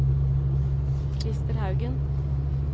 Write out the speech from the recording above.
Krister Haugen